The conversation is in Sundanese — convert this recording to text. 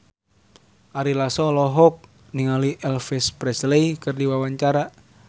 Ari Lasso olohok ningali Elvis Presley keur diwawancara